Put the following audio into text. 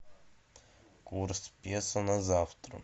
курс песо на завтра